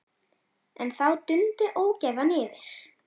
En þá dundi ógæfan yfir.